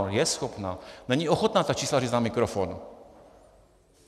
Ona je schopná, není ochotná ta čísla říct na mikrofon.